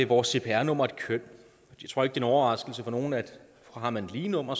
vores cpr nummer et køn jeg tror ikke det overraskelse for nogen at har man et lige nummer